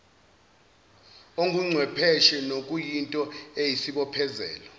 onguchwepheshe nokuyinto eyisibophezelo